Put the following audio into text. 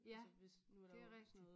Ja det rigtig